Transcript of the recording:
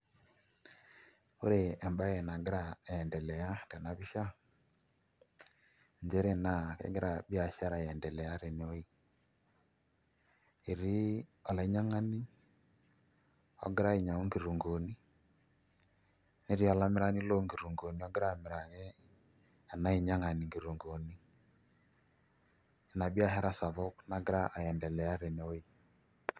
Ore embaye nagira aiendelea tena pisha nchere naa kegira biashara aiendelea tene wueji etii olainyiang'ani ogira ainyiang'u nkitunkuuni netii olamirani loonkitunkuuni ogira amiraki ena ainyiang'ani nkitunguuni ina biashara sapuk nagira aiendelea tenewueji.